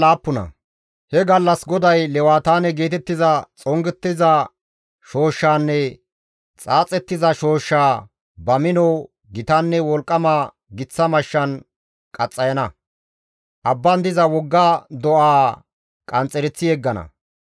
He gallas GODAY lewataane geetettiza xongettiza shooshshaanne xaaxettiza shooshshaa ba mino, gitanne wolqqama giththa mashshan qaxxayana; abban diza wogga do7aa qanxxereththi yeggana.